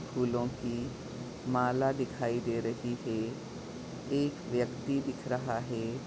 फूलो की माला दिखाई दे रही है एक व्यक्ति दिख रहा है।